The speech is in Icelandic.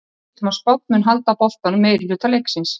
Við vitum að Spánn mun halda boltanum meirihluta leiksins.